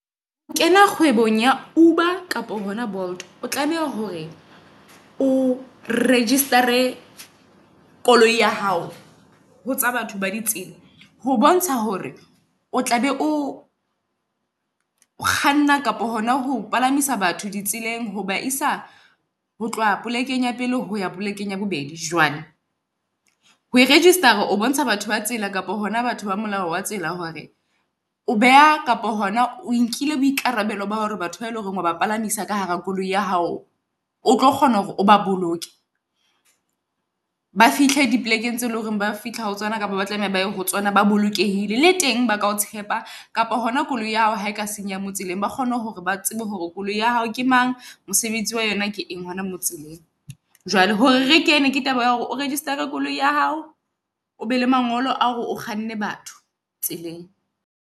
Ho kena kgwebong ya Uber kapa yona Bolt o tlameha hore o register-re koloi ya hao ho tsa batho ba di tsela. Ho bontsha hore o tla be o o kganna kapa hona ho palamisa batho di tseleng ho ba isa ho tloha polekeng ya pele ho ya polekeng ya bobedi. Jwale ho register-ra o bontsha batho ba tsela kapa hona batho ba molao wa tsela hore o beha kapa hona o nkile boikarabello ba hore batho ba eleng hore ho ba palamisa ka hara koloi ya hao. O tlo kgona hore o ba boloke, ba fihle dipolekeng tse leng hore ba fihla ho tsona kapa ba tlameha ho tsona, ba bolokehile. Le teng baka o tshepa kapa hona koloi ya hao ha e ka senyeha mo tseleng ba kgone hore ba tsebe hore koloi ya hao ke mang. Mosebetsi wa yona ke eng hona mo tseleng. Jwale hore re kene, ke taba ea hore o register-rale koloi ya hao, o be le mangolo a hore o kganne batho tseleng.